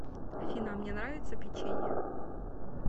афина а мне нравится печенье